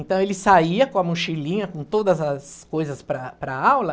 Então, ele saía com a mochilinha, com todas as coisas para para a aula...